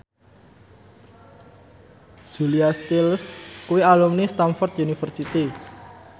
Julia Stiles kuwi alumni Stamford University